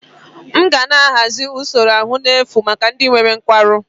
M ga na-ahazi usoro ahụike n'efu maka ndị nwere nkwarụ